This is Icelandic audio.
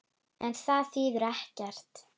En það þýðir ekkert.